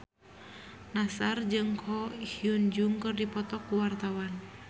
Nassar jeung Ko Hyun Jung keur dipoto ku wartawan